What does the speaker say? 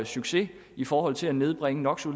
succes i forhold til at nedbringe no for